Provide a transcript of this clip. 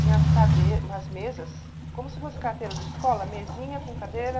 Vinha as umas mesas, como se fosse carteira de escola, mesinha com cadeira.